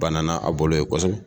Banana a bolo yen kosɛbɛ!